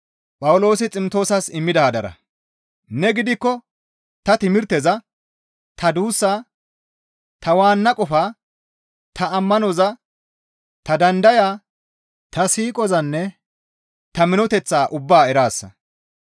Ne gidikko ta timirteza, ta duussaa, ta waanna qofaa, ta ammanoza, ta dandayaa, ta siiqozanne ta minoteththaa ubbaa eraasa.